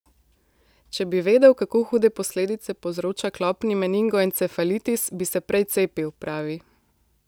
Če bi vedel, kako hude posledice povzroča klopni meningoencefalitis, bi se prej cepil, pravi.